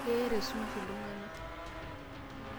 Keyeita esumash iltung'ana.